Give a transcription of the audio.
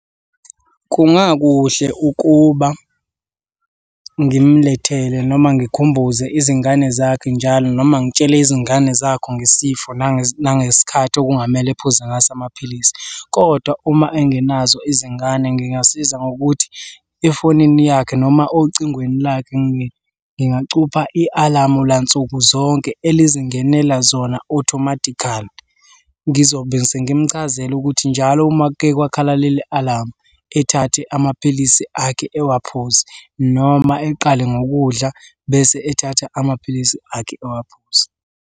Kungakuhle ukuba ngimlethele noma ngikhumbuze izingane zakhe njalo, noma ngitshele izingane zakhe ngesifo nangesikhathi okungamele uphuze ngaso amapilisi, kodwa uma engenazo izingane ngingasiza ngokuthi efonini yakhe noma ocingweni lakhe ngingacupha i-alamu lansuku zonke elizingenela zona automatically. Ngizobe sengimchazela ukuthi njalo uma kuke kwakhala leli alamu ethathe amaphilisi akhe ewaphuze noma eqale ngokudla, bese ethatha amaphilisi akhe ewaphuze.